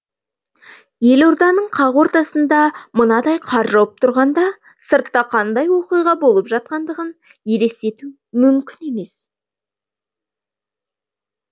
елорданың қақ ортасында мынадай қар жауып тұрғанда сыртта қандай оқиға болып жатқандығын елестету мүмкін емес